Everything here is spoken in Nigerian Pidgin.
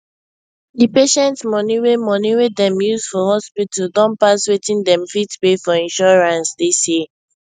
di patient money wey money wey dem use for hospital don pass wetin dem fit pay for insurance dis year